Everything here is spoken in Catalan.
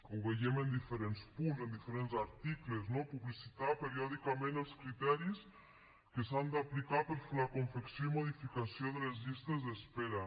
ho veiem en diferents punts en diferents articles no publicitar periòdicament els criteris que s’han d’aplicar per fer la confecció i modificació de les llistes d’espera